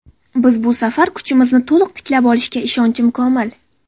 Biz bu safar kuchimizni to‘liq tiklab olishga ishonchim komil.